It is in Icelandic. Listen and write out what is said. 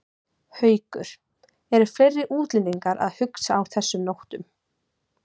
Haukur: Eru fleiri útlendingar að hugsa á þessum nótum?